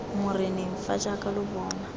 moreneng fa jaaka lo bona